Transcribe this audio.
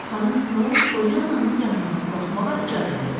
Xanım Snow Poliyannanı yanına buraxmağa icazə verdi.